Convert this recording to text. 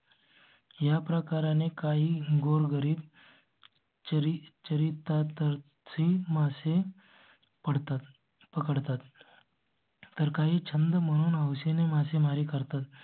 या प्रकारा ने काही गोरगरीब. ची चरित ची माणसे. पडतात पकडतात. तर काही छंद म्हणून house ने मासेमारी करतात.